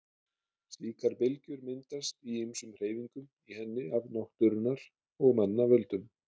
Slíkar bylgjur myndast í ýmsum hreyfingum í henni af náttúrunnar og manna völdum.